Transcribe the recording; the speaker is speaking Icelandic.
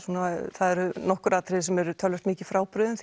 það eru nokkur atriði sem eru töluvert mikið frábrugðin